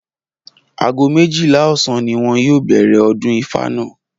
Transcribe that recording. Aago méjìlá ò̩sán ni wo̩n yóò bè̩rè̩ o̩dún Ifá náà